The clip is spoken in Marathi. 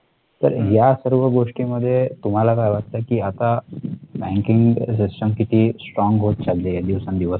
तर या सर्व गोष्टी मध्ये तुम्हाला काय वाटतं की आता banking system किती strong होत चाललिये दिवसेंदिवस